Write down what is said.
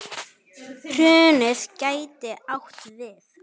Hrunið gæti átt við